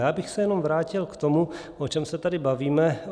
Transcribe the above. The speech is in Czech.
Já bych se jenom vrátil k tomu, o čem se tady bavíme.